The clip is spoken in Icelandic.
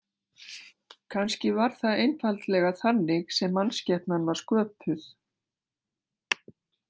Kannski var það einfaldlega þannig sem mannskepnan var sköpuð.